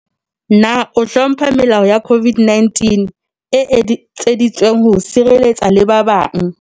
Na o hlompha melao ya COVID-19 e etseditsweng ho o sireletsa le ba bang?